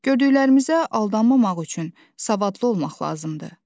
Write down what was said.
Gördüklərimizə aldanmamaq üçün, savadlı olmaq lazımdır.